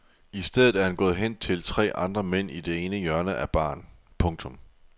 I stedet er han gået hen til tre andre mænd i det ene hjørne af baren. punktum